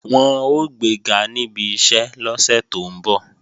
Wọn ó gbega níbi iṣẹ́ lọ́sẹ̀ tó ń bọ̀